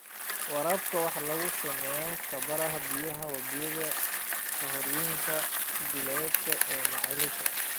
Waraabka waxaa lagu samayn karaa biyaha wabiyada, harooyinka, balliyada, ama ceelasha.